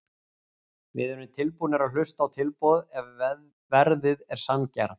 Við erum tilbúnir að hlusta á tilboð ef að verðið er sanngjarnt.